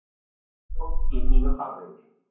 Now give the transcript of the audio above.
Markarfljót í nýjum farvegi